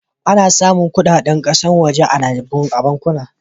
Ana samun kaɗaɗen kasashe waje a bankuna.